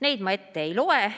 Neid ma ette ei loe.